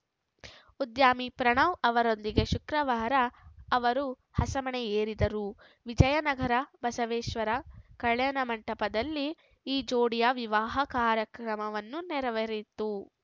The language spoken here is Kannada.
ಉದ್ಯಮಿ ಪ್ರಣವ್‌ ಅವರೊಂದಿಗೆ ಶುಕ್ರವಾರ ಅವರು ಹಸೆಮಣೆ ಏರಿದರು ವಿಜಯನಗರ ಬಸವೇಶ್ವರ ಕಲ್ಯಾಣ ಮಂಟಪದಲ್ಲಿ ಈ ಜೋಡಿಯ ವಿವಾಹ ಕಾರ್ಯಕ್ರಮವನ್ನು ನೆರವೇರಿತು